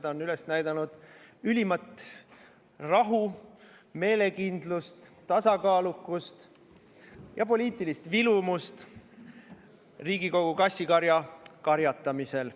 Ta on üles näidanud ülimat rahu, meelekindlust, tasakaalukust ja poliitilist vilumust Riigikogu kassikarja karjatamisel.